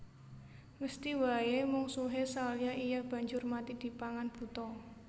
Mesthi waé mungsuhé Salya iya banjur mati dipangan buta